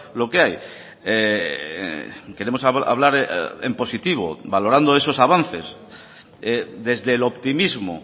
lo que hay queremos hablar en positivo valorando esos avances desde el optimismo